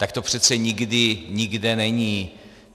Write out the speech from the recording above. Tak to přece nikdy nikde není.